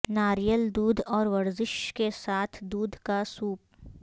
ناریل دودھ اور ورزش کے ساتھ دودھ کا سوپ